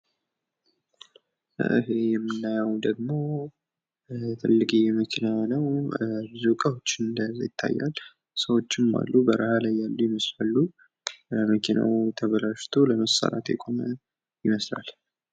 የጉዞ እቅድ አስቀድሞ ሊዘጋጅ ይችላል። ቱሪዝም የመስተንግዶ ኢንዱስትሪን ያካትታል። የስደት ውሳኔ ብዙውን ጊዜ ድንገተኛና አስቸጋሪ ነው።